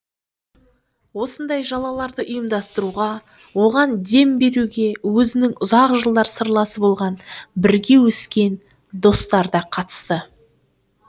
осындай жалаларды ұйымдастыруға оған дем беруге өзінің ұзақ жылдар сырласы болған бірге өскен достары да қатысты